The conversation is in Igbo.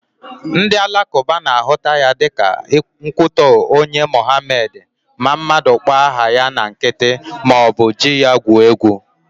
Ndị alakụba na-ahụta ya dịka nkwutọ nye Mohamed ma mmadụ kpọọ aha ya na nkịtị maọbụ ji ya gwuo egwu